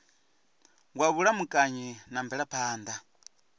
wa vhulamukanyi na mvelaphan ḓa